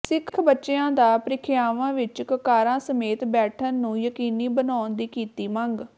ਸਿੱਖ ਬੱਚਿਆਂ ਦਾ ਪ੍ਰੀਖਿਆਵਾਂ ਵਿਚ ਕੱਕਾਰਾਂ ਸਮੇਤ ਬੈਠਣ ਨੂੰ ਯਕੀਨੀ ਬਣਾਉਣ ਦੀ ਕੀਤੀ ਮੰਗ